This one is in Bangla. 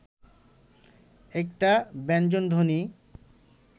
একটা ব্যঞ্জনধ্বনি